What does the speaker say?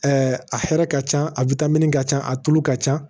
a hɛrɛ ka ca a ka ca a tulu ka ca